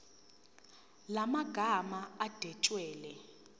la magama adwetshelwe